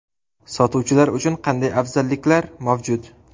Sotuvchilar uchun qanday afzalliklar mavjud?